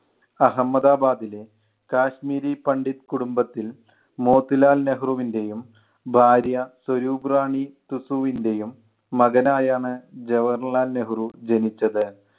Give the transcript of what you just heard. അഹമ്മദാബാദിലെ കാശ്മീരി പണ്ഡിറ്റ് കുടുംബത്തിൽ മോത്തിലാൽ നെഹ്‌റുവിൻ്റെയും ഭാര്യ സ്വരൂപ്റാണി തുസുവിൻ്റെയും മകനായാണ് ജവാഹർലാൽ നെഹ്‌റു ജനിച്ചത്.